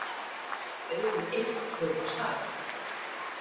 Auðunn einn hljóp af stað.